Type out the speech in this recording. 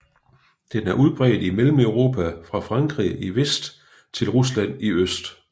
Den er udbredt i Mellemeuropa fra Frankrig i vest til Rusland i øst